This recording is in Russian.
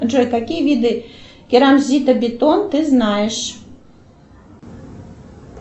джой какие виды керамзитобетон ты знаешь